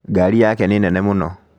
Ngari yake nĩ nene mũno